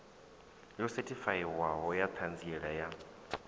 yo sethifaiwaho ya ṱhanziela ya